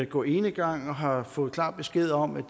gå enegang og har fået klar besked om at